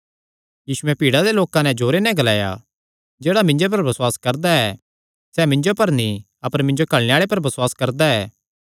यीशुयैं भीड़ा दे लोकां जो जोरे नैं ग्लाया जेह्ड़ा मिन्जो पर बसुआस करदा ऐ सैह़ मिन्जो पर नीं अपर मिन्जो घल्लणे आल़े पर बसुआस करदा ऐ